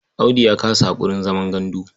Audu ya kasa haƙurin zaman gandu.